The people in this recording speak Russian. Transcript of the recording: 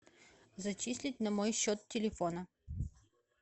зачислить на мой счет телефона